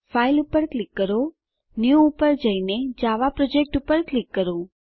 file પર click કરો new પર જઈને જાવા પ્રોજેક્ટ પર ક્લિક કરો